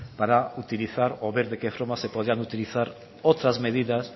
para utilizar o ver de qué forma se podrían utilizar otras medidas